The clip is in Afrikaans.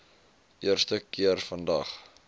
eerste keer vandag